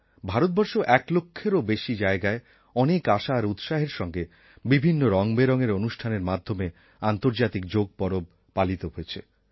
ভারতবর্ষেও এক লক্ষের বেশি জায়গায় অনেক আশা আর উৎসাহের সঙ্গে বিভিন্ন রঙবেরঙের অনুষ্ঠানের মাধ্যমে আন্তর্জাতিক যোগ পরব পালিত হয়েছে